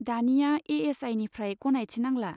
दानिया ए.एस.आइ निफ्राय गनायथि नांला।